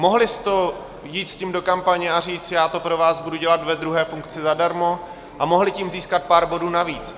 Mohli s tím jít do kampaně a říct "já to pro vás budu dělat ve druhé funkci zadarmo" a mohli tím získat pár bodů navíc.